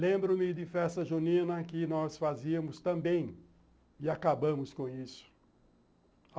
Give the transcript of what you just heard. Lembro-me de festa junina que nós fazíamos também e acabamos com isso.